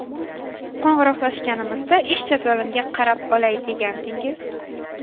Qo‘ng‘iroqlashganimizda ish jadvalimga qarab olay degandingiz?